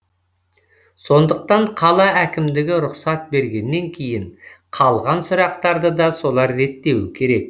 сондықтан қала әкімдігі рұқсат бергеннен кейін қалған сұрақтарды да солар реттеуі керек